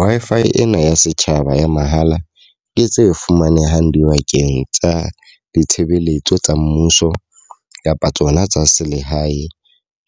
Wi-Fi ena ya setjhaba ya mahala e tse fumanehang dibakeng tsa ditshebeletso tsa mmuso kapa tsona tsa selehae.